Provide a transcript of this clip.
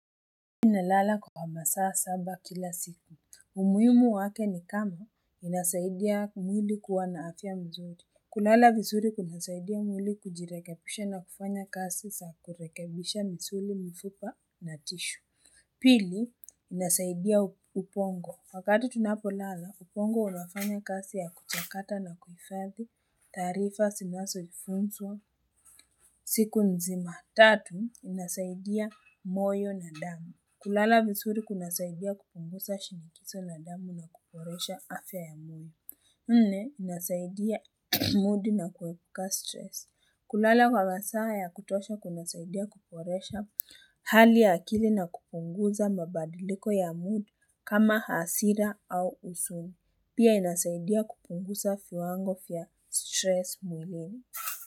Nalala kwa masaa saba kila siku. Umuhimu wake ni kama inasaidia mwili kuwa na afya mzuri. Kulala vizuri kunasaidia mwili kujirekebisha na kufanya kazi za kurekebisha misuli mifupa na tishu. Pili inasaidia ubongo. Wakati tunapolala, ubongo unafanya kazi ya kuchakata na kuhifadhi, taarifa zinazoifunzwa, siku nzima tatu inasaidia moyo na damu. Kulala vizuri kunasaidia kupunguza shinikizo la damu na kuboresha afya ya mtu nne, inasaidia mood na kuepuka stress kulala kwa masaa ya kutosha kunasaidia kuboresha Hali ya akili na kupunguza mabadiliko ya mood kama hasira au usuni Pia inasaidia kupungusa viwango vya stress mwilini.